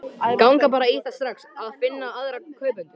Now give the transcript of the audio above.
Ganga bara í það strax að finna aðra kaupendur.